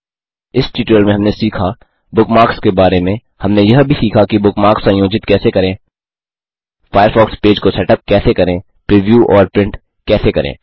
इस ट्यूटोरियल में हमने सीखा बुकमार्क्स के बारे में हमने यह भी सीखा कि बुकमार्क्स संयोजित कैसे करें फ़ायरफ़ॉक्स पेज को सेटअप कैसे करें प्रिव्यू और प्रिंट कैसे करें